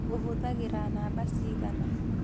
Ũhũthagĩra namba cigana